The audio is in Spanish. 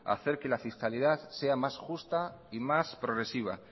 hacer que la fiscalidad sea más justa y más progresiva